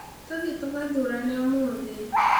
Tũthiĩ tũgathurane ũmũthĩ.